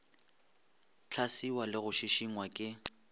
hlaswiwa le go šišingwa ke